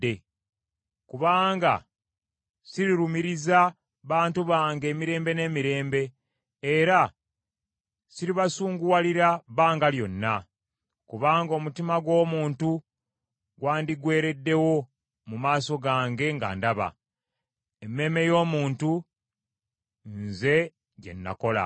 Kubanga sirirumiriza bantu bange emirembe n’emirembe era siribasunguwalira bbanga lyonna. Kubanga omutima gw’omuntu gwandigwereddewo mu maaso gange nga ndaba, emmeeme y’omuntu nze gye nakola.